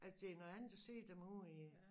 Det er noget andet at se dem ude i